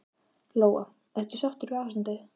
Lóa: Ertu sáttur við ástandið?